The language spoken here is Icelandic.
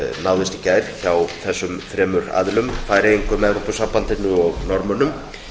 náðist í gær hjá þessum þremur aðilum færeyingum evrópusambandinu og norðmönnum